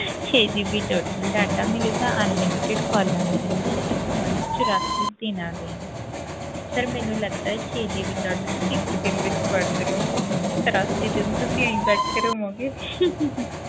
ਛੇ GB total data ਮਿਲੇਗਾ unlimited calls ਮਿਲਣਗੀਆਂ sir ਤੁਹਾਨੂੰ ਚੁਰਾਸੀ ਦਿਨਾਂ ਲਈ sir ਮੈਨੂੰ ਲੱਗਦਾ ਹੈ ਛੇ GB data ਤੁਸੀਂ ਇੱਕ ਦਿਨ ਵਿੱਚ ਵਰਤ ਲਓਗੇ ਤੇ ਚੁਰਾਸੀ ਦਿਨ ਤੁਸੀਂ ਇਉਂ ਹੀ ਬੈਠੇ ਰਹੋਂਗੇ